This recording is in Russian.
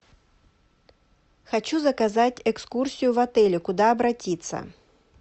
хочу заказать экскурсию в отеле куда обратиться